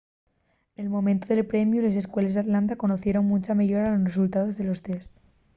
nel momentu del premiu les escueles d’atlanta conocieren muncha meyora nos resultaos de los tests